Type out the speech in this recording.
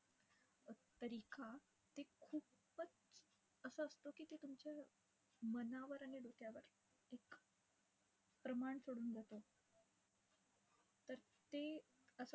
ते खूपच असं असतं की तुमच्या मनावर आणि डोक्यावर एक प्रमाण सोडून जातं. तर ते असं